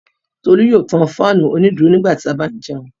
Tolú yóò tan fáánù onídùúró nígbà tí a bá ń jẹun.